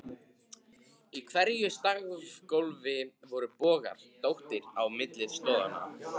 Í hverju stafgólfi voru bogar, dróttir, á milli stoðanna.